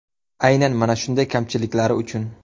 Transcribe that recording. Aynan mana shunday kamchiliklari uchun.